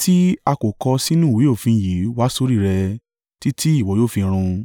tí a kò kọ sínú ìwé òfin yìí wá sórí rẹ, títí ìwọ yóò fi run.